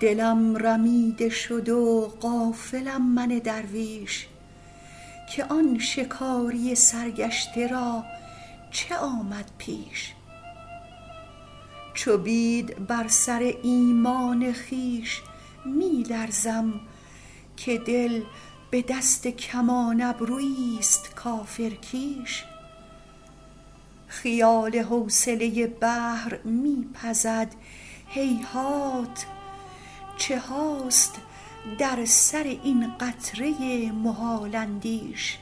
دلم رمیده شد و غافلم من درویش که آن شکاری سرگشته را چه آمد پیش چو بید بر سر ایمان خویش می لرزم که دل به دست کمان ابرویی ست کافرکیش خیال حوصله بحر می پزد هیهات چه هاست در سر این قطره محال اندیش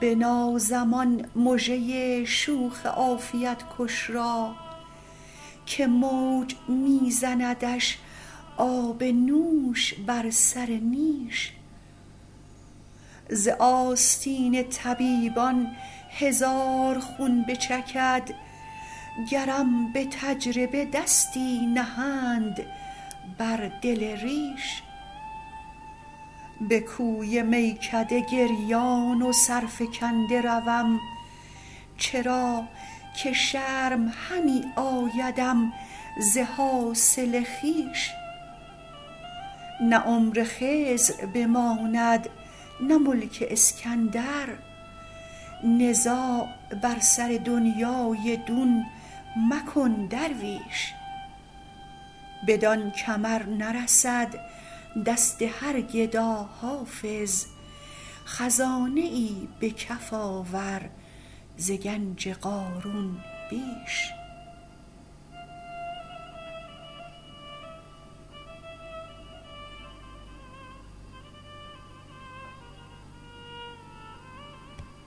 بنازم آن مژه شوخ عافیت کش را که موج می زندش آب نوش بر سر نیش ز آستین طبیبان هزار خون بچکد گرم به تجربه دستی نهند بر دل ریش به کوی میکده گریان و سرفکنده روم چرا که شرم همی آیدم ز حاصل خویش نه عمر خضر بماند نه ملک اسکندر نزاع بر سر دنیی دون مکن درویش بدان کمر نرسد دست هر گدا حافظ خزانه ای به کف آور ز گنج قارون بیش